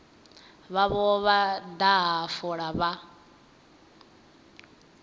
vhavho vha daha fola vha